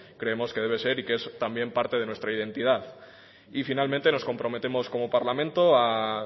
creemos que debe ser y que es también parte de nuestra identidad y finalmente nos comprometemos como parlamento